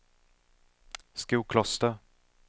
Skokloster